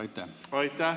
Aitäh!